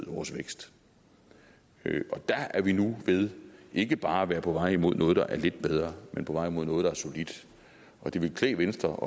og vores vækst der er vi nu ved ikke bare at være på vej imod noget der er lidt bedre men på vej imod noget der er solidt og det ville klæde venstre